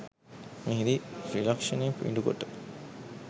මෙහිදී ත්‍රිලක්‍ෂණය පිඬුකොට